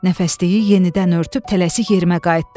Nəfəsliyi yenidən örtüb tələsik yerimə qayıtdım.